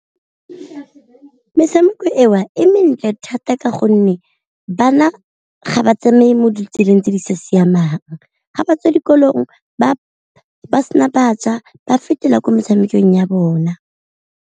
Metshameko eo e mentle thata ka gonne bana ga ba tsamaye mo ditseleng tse di sa siamang, ga ba tswa dikolong ba ba sena ba ja ba fetela ko metshamekong ya bona.